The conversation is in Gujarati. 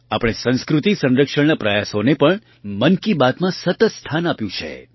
આપણે સંસ્કૃતિ સંરક્ષણના પ્રયાસોને પણ મન કી બાતમાં સતત સ્થાન આપ્યું છે